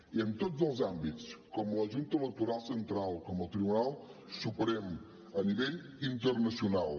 i en tots els àmbits com la junta electoral central com el tribunal suprem a nivell internacional